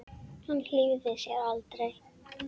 Hann hlífði sér aldrei.